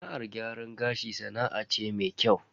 Sana'ar gyaran gashi sana'a ce mai kyau.